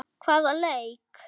Hvaða leik?